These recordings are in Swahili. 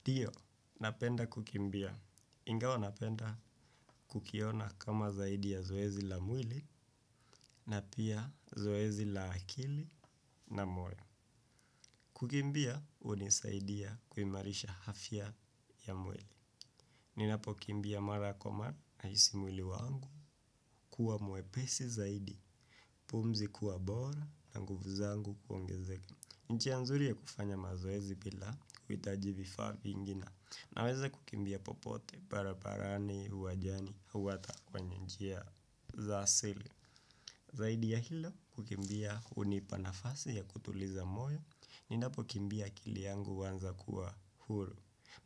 Ndiyo, napenda kukimbia. Ingawa napenda kukiona kama zaidi ya zoezi la mwili na pia zoezi la akili na moyo. Kukimbia hunisaidia kuimarisha afya ya mwili. Ninapokimbia mara kwa mara nahisi mwili wangu kuwa mwepesi zaidi, pumzi kuwa bora na nguvu zangu kuongezeka. Njia nzuri ya kufanya mazoezi bila kuhitaji vifaa vingi na. Naweza kukimbia popote, barabarani, uwanjani, au hata kwenye njia za asili. Zaidi ya hilo, kukimbia hunipa nafasi ya kutuliza moyo, ninapo kimbia akili yangu huanza kuwa huru.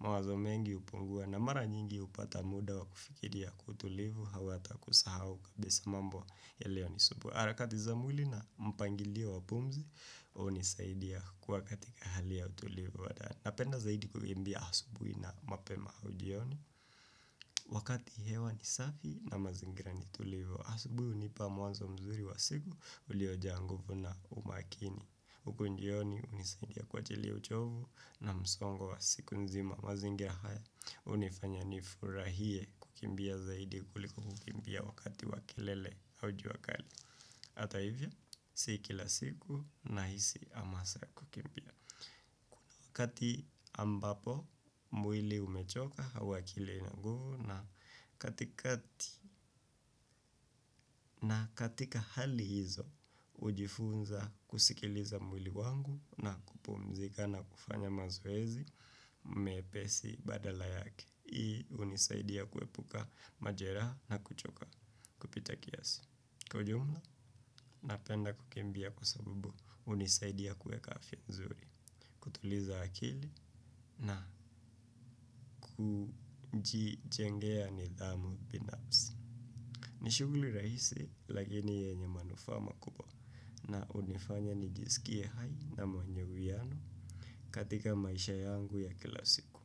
Mawazo mengi hupungua na mara nyingi hupata muda wa kufikiria kwa utulivu au hata kusahau kabisa mambo yaliyonisumbua. Harakati za mwili na mpangilio wa pumzi, hunisaidia kuwa katika hali ya utulivu wa ndani. Napenda zaidi kukimbia asubuhi na mapema au jioni. Wakati hewa ni safi na mazingira ni tulivu. Asubuhi hunipa mwanzo mzuri wa siku uliojaa nguvu na umakini huku jioni hunisaidia kuachilia uchovu na msongo wa siku nzima. Mazingira haya hunifanya nifurahie kukimbia zaidi kuliko kukimbia wakati wa kilele au jua kali. Hata hivyo si kila siku nahisi hamasa ya kukimbia. Wakati ambapo mwili umechoka huwa akili haina nguvu na katika na katika hali hizo hujifunza kusikiliza mwili wangu na kupumzika na kufanya mazoezi mepesi badala yake. Hii hunisaidia kuepuka majeraha na kuchoka kupita kiasi. Kwa ujumla, napenda kukimbia kwa sabubu hunisaidia kueka afya nzuri, kutuliza akili na kujijengea nidhamu binafsi. Ni shughuli rahisi, lakini yenye manufaa makubwa na hunifanya nijisikie hai na mwenye uwiano katika maisha yangu ya kila siku.